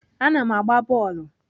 Ana m agba bọọlụ.